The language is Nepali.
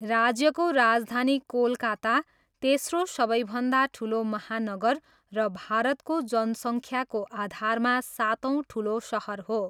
राज्यको राजधानी कोलकाता, तेस्रो सबैभन्दा ठुलो महानगर र भारतको जनसङ्ख्याको आधारमा सातौँ ठुलो सहर हो।